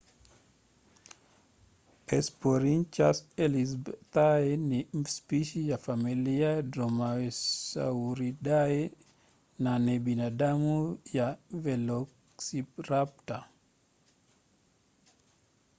hesperonychus elizabethae ni spishi ya familia dromaeosauridae na ni binamu ya velociraptor